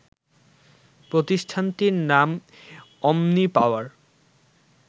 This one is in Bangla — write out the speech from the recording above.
প্রতিষ্ঠানটির নাম অমনি পাওয়ার